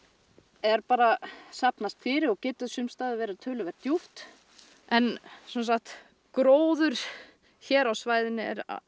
er bara að safnast fyrir og getur sums staðar verið töluvert djúpt en sem sagt gróður hér á svæðinu